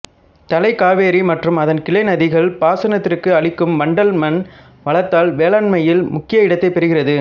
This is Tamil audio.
தலைக்காவிரி மற்றும் அதன் கிளைநதிகள் பாசனத்திற்கு அளிக்கும் வண்டல் மண் வளத்தால் வேளாண்மையில் முக்கிய இடத்தை பெறுகிறது